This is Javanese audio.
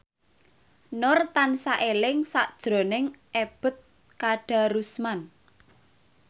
Nur tansah eling sakjroning Ebet Kadarusman